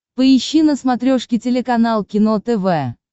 поищи на смотрешке телеканал кино тв